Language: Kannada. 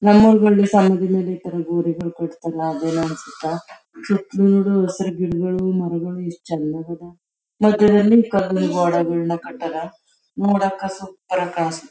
ನಮ ಊರಲ್ಲಿ ಸಮಾಧಿ ಮೇಲೆ ಇತರ ಗೋರಿಗಳ್ಳು ಕಟ್ಟತಾರ ಅಲ್ಲ ಅದು ಏನ್ ಅನ್ಸುತ್ತಾ ಹಸಿರು ಗಿಡಗಳು ಮರಗಳು ಎಷ್ಟು ಚನ್ನಗದ ನೋಡಾಕ ಸೂಪರ್ ಆಗಿ ಕನ್ಸುತ್ತಾ --